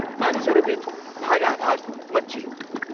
मानिसहरूबिच भागाभाग मच्चियो।